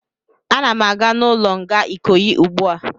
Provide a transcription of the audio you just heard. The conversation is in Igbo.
Ana m aga n'ụlọ nga Ikoyi ugbu a